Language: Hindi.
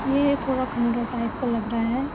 ये ये थोडा खंडर टाइप का लग रहा है।